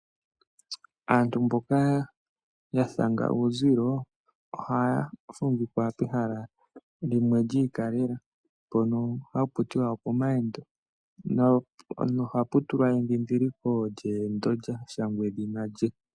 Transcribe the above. Aantu mboka yathanga uuzilo ohaya fumvikwa pehala lyiikaleka mpono hakutiwa opomawendo nohapu tulwa edhidhiliko lyashangwa edhina lye.